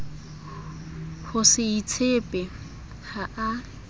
ho se itshepe ha a